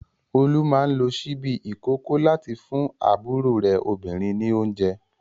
Olú máa ń lo ṣíbí ìkókó láti fún àbúrò rẹ̀ obìnrin ní oúnjẹ.